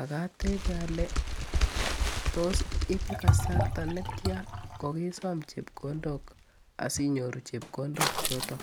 ako katebe ale ibe kasarta netya kokesom chepkondok asinyoru chepkondok chotok?